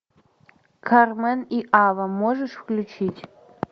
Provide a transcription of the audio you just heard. кармен и ава можешь включить